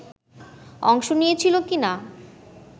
অংশ নিয়েছিল কি না